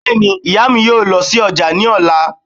Bẹ́ẹ̀ni, ìyá mi yóò lọ sí ọjà ní ọ̀la